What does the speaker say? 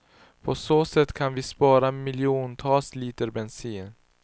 På så sätt kan vi spara miljontals liter bensin.